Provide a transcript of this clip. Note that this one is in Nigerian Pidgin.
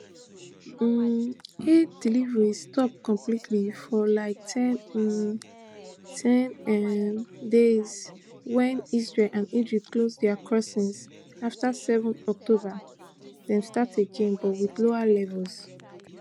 um aid deliveries stop completely ofr like ten um ten um days wen israel and egypt close dia crossings afta seven october dem start again but wit lower levels